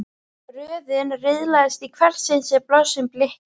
Röðin riðlaðist í hvert sinn sem blossinn blikkaði.